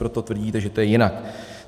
Proto tvrdíte, že to je jinak.